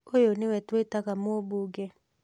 ũyũ nĩwe twĩtaga mũũmbunge